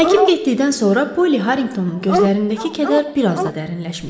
Həkim getdikdən sonra Polli Harrinqtonun gözlərindəki kədər bir az da dərinləşmişdi.